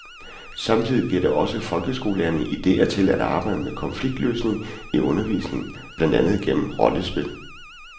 Samtidig giver det også folkeskolelærerne idéer til at arbejde med konfliktløsning i undervisningen, blandt andet gennem rollespil.